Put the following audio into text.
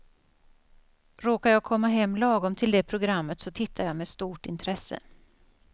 Råkar jag komma hem lagom till det programmet så tittar jag med stort intresse.